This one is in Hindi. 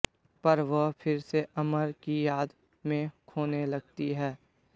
पर वह फिर से अमर की याद में खोने लगती है